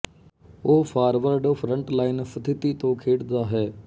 ਉਹ forward front line ਸਥਿਤੀ ਤੋਂ ਖੇਡਦਾ ਹੈ